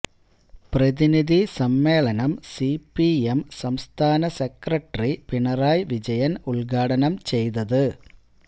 പ്രതിനിധി സമ്മേളനം സിപിഎം സംസ്ഥാന സെക്രട്ടറി പിണറായി വിജയന് ഉദ്ഘാടനം ചെയ്തത്